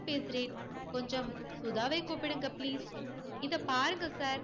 பேசுறேன். கொஞ்சம் சுதாவை கூப்பிடுங்க please இதோ பாருங்க சார்,